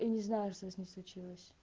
не знаю что с ней случилось